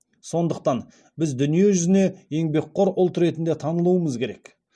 сондықтан біз дүние жүзіне еңбекқор ұлт ретінде танылуымыз керек